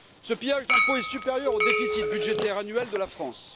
Ce pillage d'impôts est supérieur au déficit budgétaire annuel de la France.